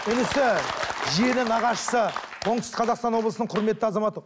інісі жиені нағашысы оңтүстік қазақстан облысының құрметті азаматы